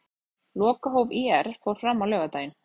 Lokahóf ÍR fór fram á laugardaginn.